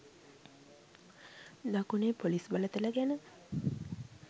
දකුණේ පොලිස් බලතල ගැන